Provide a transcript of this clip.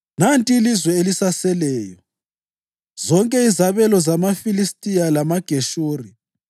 Nanti ilizwe elisaseleyo: zonke izabelo zamaFilistiya lamaGeshuri: